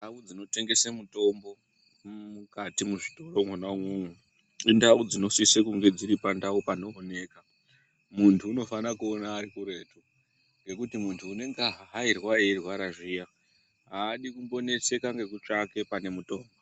Ndau dzinotengese mutombo mukati mwezvitoro mwona umwomwo ,indau dzinosise kunge dziri pandau panooneka. Muntu unofanira kuona ari kuretu, ngekuti muntu unenge ahahairwa eirwara zviya ,aadi kumboneseka ngekutsvake pane mutombo.